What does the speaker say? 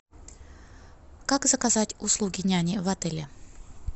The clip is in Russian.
как заказать услуги няни в отеле